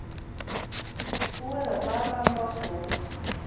Búið er að draga um rásröðina